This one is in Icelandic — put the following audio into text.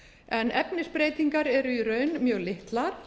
en efnisbreytingar eru í raun mjög litlar